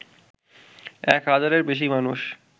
এক হাজারের বেশি মানুষ